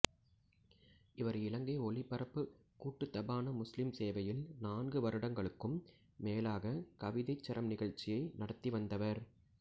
இவர் இலங்கை ஒலிபரப்புக் கூட்டுத்தாபன முஸ்லிம் சேவையில் நான்கு வருடங்களுக்கும் மேலாக கவிதைச் சரம் நிகழ்ச்சியை நடாத்தி வந்தவர்